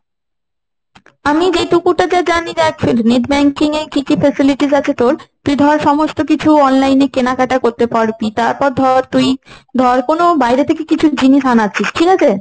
আমি যেটুকু যা জানি তাই বলছি net banking এ কি কি facilities আছে তোর, তুই ধর সমস্ত কিছু online এ কেনাকাটা করতে পারবি, তারপর ধর তুই ধর বাইরে থেকে কিছু জিনিস আনাচ্ছিস। ঠিক আছে,